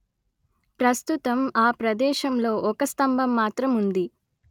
ప్రస్తుతం ఆ ప్రదేశంలో ఒక స్తంభం మాత్రం ఉంది